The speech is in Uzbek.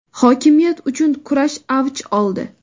hokimiyat uchun kurash avj oldi.